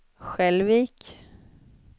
Skälvik